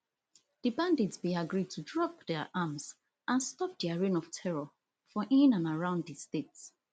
di bandits bin agree to drop dia arms and stop dia reign of terror for in and around di state